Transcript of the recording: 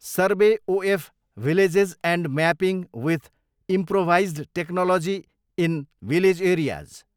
survey of villages and mapping with improvised technology in village areas